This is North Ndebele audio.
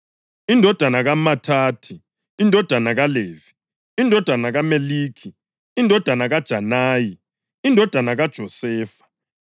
indodana kaMathathi, indodana kaLevi, indodana kaMeliki, indodana kaJanayi, indodana kaJosefa,